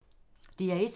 DR1